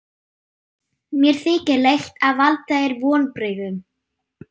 Mér þykir leitt að valda þér vonbrigðum.